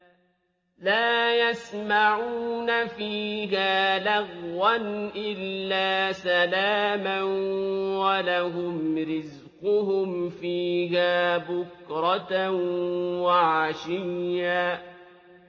لَّا يَسْمَعُونَ فِيهَا لَغْوًا إِلَّا سَلَامًا ۖ وَلَهُمْ رِزْقُهُمْ فِيهَا بُكْرَةً وَعَشِيًّا